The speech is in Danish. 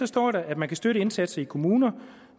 står der at man kan støtte indsatser i kommuner